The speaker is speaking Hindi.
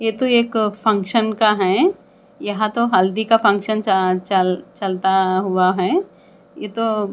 ये तो एक फंक्शन का है यहाँ तो हल्दी का फंक्शन अ चल चल चलता हुआ है ये तो --